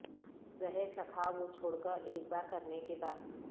زہر چکھا وہ چھوڑ کر ایک بار کرنے کے بعد